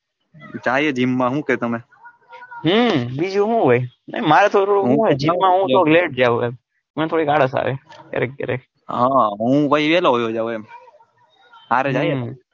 જાય ય જિમ માં હું કે તમે હમ બીજું હું હોય ના મારે થોડું જિમ માં થોડો late જાઉં એમ મારે થોડી ક્યારેક ક્યારેક હ હું વેલોજાઉં એમ હરે જઈએ ને.